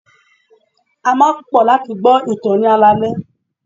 A máa ń pò láti gbo ìtàn ní alaale.